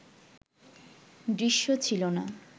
দৃশ্য ছিল না